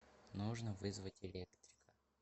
нужно вызвать электрика